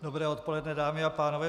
Dobré odpoledne, dámy a pánové.